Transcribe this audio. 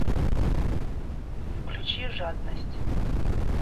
включи жадность